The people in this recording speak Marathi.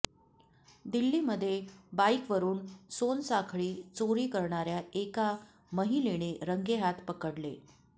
दिल्लीमध्ये बाईकवरून सोनसाखळी चोरी करणाऱ्या एका महिलेने रंगेहात पकडले